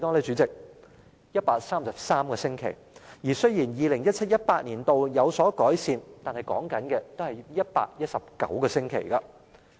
主席，是133個星期，情況雖然在 2017-2018 年度有所改善，但仍需要119個星期。